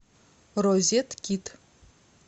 розеткид